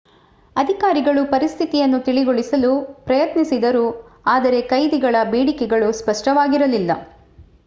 ಅಧಿಕಾರಿಗಳು ಪರಿಸ್ಥಿತಿಯನ್ನು ತಿಳಿಗೊಳಿಸಲು ಪ್ರಯತ್ನಿಸಿದರು ಆದರೆ ಕೈದಿಗಳ ಬೇಡಿಕೆಗಳು ಸ್ಪಷ್ಟವಾಗಿರಲಿಲ್ಲ